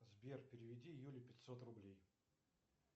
сбер переведи юле пятьсот рублей